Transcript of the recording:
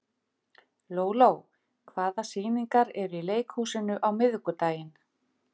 Lóló, hvaða sýningar eru í leikhúsinu á miðvikudaginn?